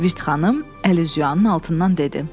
Virt xanım əlüzyuyanın altından dedi.